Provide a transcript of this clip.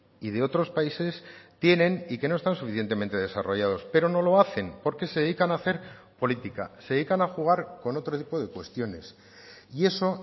y de otros países tienen y que no están suficientemente desarrollados pero no lo hacen porque se dedican a hacer política se dedican a jugar con otro tipo de cuestiones y eso